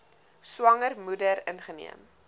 swanger moeder ingeneem